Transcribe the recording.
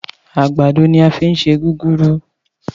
Àgbàdo ni a fi ń ṣe gúgúrú